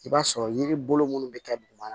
I b'a sɔrɔ yiri bolo munnu bɛ kɛ duguma